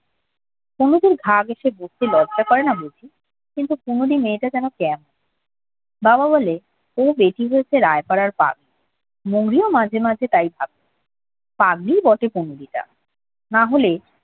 কুমুদের গা ঘেসে বসতে লজ্জা করে না বুঝি কিন্তু কোনদিন মেয়েটা যেন কেমন বাবা বলে ও বেটি হচ্ছে রায় পাড়ার বাগ মৌরী ও মাঝে মাঝে তাই ভাবে পাগলী বটে কুমুদীটা না হলে